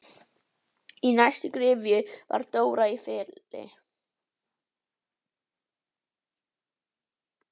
Í næstu gryfju var Dóra í Felli.